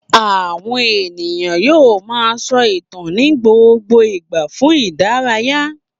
Àwọn ènìyàn yóò máa sọ ìtàn ní gbogbo ìgbà fún ìdárayá.